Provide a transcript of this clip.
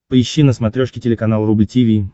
поищи на смотрешке телеканал рубль ти ви